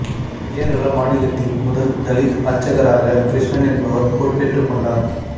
கேரள மாநிலத்தின் முதல் தலித் அர்ச்சகராக கிருஷ்ணன் என்பவர் பொறுப்பேற்றுக் கொண்டார்